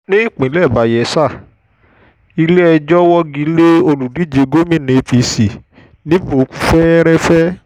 ní ìpínlẹ̀ bayela ilé-ẹjọ́ wọ́gílẹ́ olùdíje gomina apc níbò kú fẹ́ẹ́rẹ́fẹ́